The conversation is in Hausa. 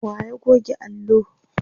wa ya goge allo?